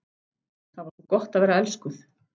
Það var svo gott að vera elskuð.